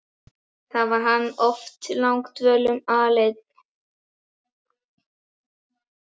Þarna var hann oft langdvölum aleinn.